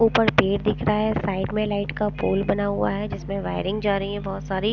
ऊपर पेड़ दिख रहा हैं साइड में लाइट का पोल बना हुआ हैं जिसमें वायरिंग जा रही हैं बहुत सारी --